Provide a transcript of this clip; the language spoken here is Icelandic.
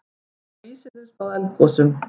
Geta vísindin spáð eldgosum?